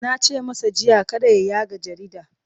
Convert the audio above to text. Na ce masa jiya kada ya yaga jarida!